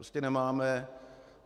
Prostě nemáme.